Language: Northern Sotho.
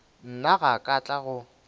nna ga ka tla go